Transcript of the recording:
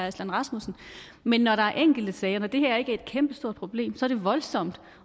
aslan rasmussen men når der er enkelte sager og det her ikke er et kæmpestort problem er det voldsomt